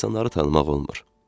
İnsanları tanımaq olmur.